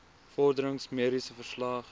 vorderings mediese verslag